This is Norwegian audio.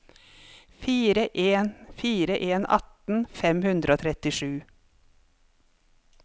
fire en fire en atten fem hundre og trettisju